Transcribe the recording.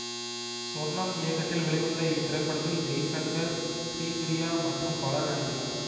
சொர்ணம் இயக்கத்தில் வெளிவந்த இத்திரைப்படத்தில் ஜெய்சங்கர் ஸ்ரீபிரியா மற்றும் பலரும் நடித்துள்ளனர்